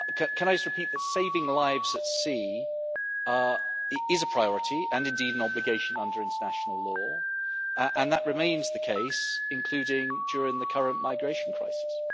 Can I just repeat that saving lives at sea is a priority and indeed an obligation under international law, and that remains the case, including during the current migration crisis.